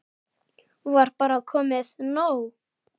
Var bara komið nóg?